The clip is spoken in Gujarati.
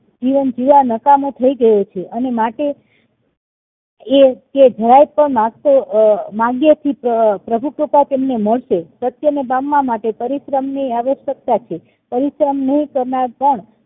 જીવન જીવવા નકામો થાય ગયો છે અને માટે એ કે જરાય પણ માંગતો માગ્યે થી પ્રભુ કૃપા એમને મળશે સત્ય ને પામવા પરિશ્રમ ની આવશ્યકતા છે પરિશ્રમ નહિ કરનાર પર